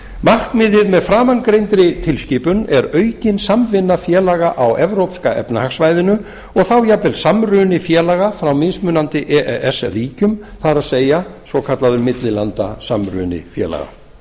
markmiðið með framangreindri tilskipun er aukin samvinna félaga á evrópska efnahagssvæðinu og þá jafnvel samruni félaga frá mismunandi e e s ríkjum það er svokallaður millilandasamruni félaga